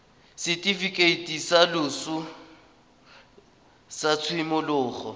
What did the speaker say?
setifikeiti sa loso sa tshimologo